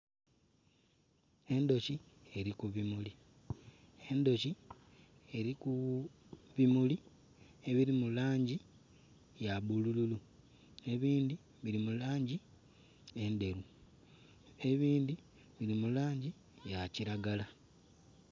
Endhoki eli ku bimuli, endhoki eli ku bimuli ebili mu langi ya bulululu, ebindi bili mu langi edheru, ebindi bili mu langi ya kilagala